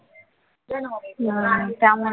हम्म त्यामुळे